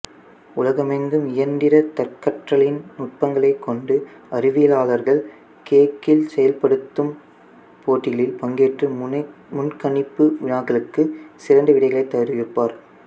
உலகமெங்கும் இயந்திர தற்கற்றலின் நுட்பங்களைக் கொண்டு அறிவியலாளர்கள் கேகிள் செயல்படுத்தும் போட்டிகளில் பங்கேற்று முன்கணிப்பு வினாக்களுக்கு சிறந்த விடைகளைத் தெரிவிப்பர்